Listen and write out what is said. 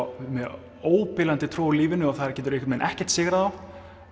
með óbilandi trú á lífinu og það getur einhvern veginn ekkert sigrað þá